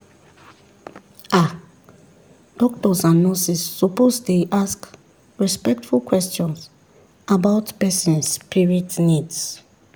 ah doctors and nurses suppose dey ask respectful questions about person spirit needs.